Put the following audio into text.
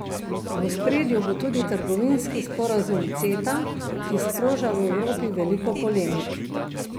V ospredju bo tudi trgovinski sporazum Ceta, ki sproža v Evropi veliko polemik.